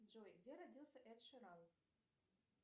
джой где родился эд ширан